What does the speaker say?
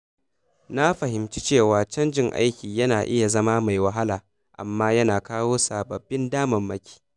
Na fahimci cewa canjin aiki na iya zama mai wahala, amma yana kawo sababbin damarmaki.